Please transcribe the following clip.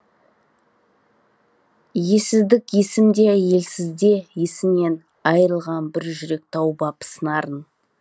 ессіздік есімде елсізде есінен айырылған бір жүрек тауып ап сыңарын